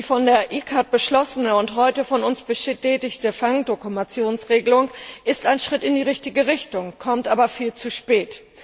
Die von der ICCAT beschlossene und heute von uns bestätigte Fangdokumentationsregelung ist ein Schritt in die richtige Richtung, kommt aber viel zu spät.